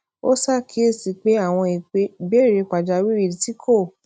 ó ṣàkíyèsí pé àwọn ìbéèrè pàjáwìrì tí kò